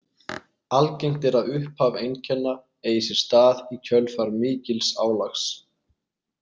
Algengt er að upphaf einkenna eigi sér stað í kjölfar mikils álags.